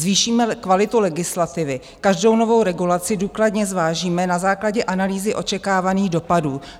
Zvýšíme kvalitu legislativy, každou novou regulaci důkladně zvážíme na základě analýzy očekávaných dopadů."